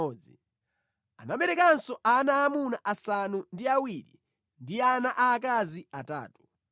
Anaberekanso ana aamuna asanu ndi awiri ndi ana aakazi atatu.